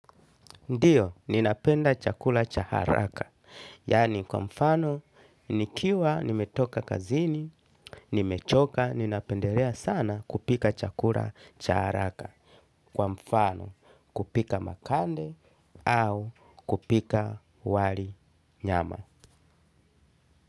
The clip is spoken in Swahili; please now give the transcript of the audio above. Ndiyo, ninapenda chakula chaharaka. Yani kwa mfano, nikiwa nimetoka kazini, nimechoka, ninapendelea sana kupika chakula cha haraka. Kwa mfano, kupika makande au kupika wali nyama.